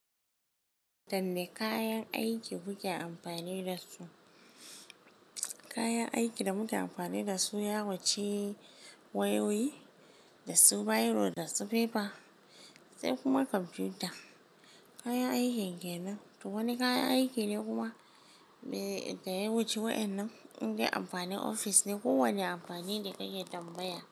Dan ne kayan aiki muke amfani dasu. Kayan aiki da muke amfani dasu yawanci wayoyi, da su biro da su fefa, sai kuma kwamfuta. Kayan aikin kenan, to wani kayan aiki ne kuma? Ga yawancin waɗannan, in dai amfanin ofis ne ko wani amfani ne kake tambaya?